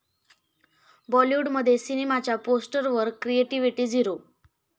बॉलिवूडमध्ये सिनेमाच्या पोस्टरवर क्रिएटिव्हिटी 'झिरो'